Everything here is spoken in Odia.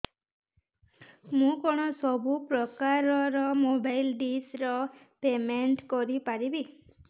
ମୁ କଣ ସବୁ ପ୍ରକାର ର ମୋବାଇଲ୍ ଡିସ୍ ର ପେମେଣ୍ଟ କରି ପାରିବି